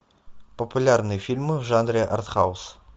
популярные фильмы в жанре артхаус